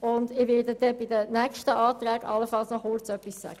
Ich werde mich bei den nächsten Anträgen allenfalls noch kurz dazu äussern.